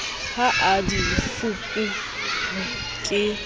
ka ha di fuperwe ke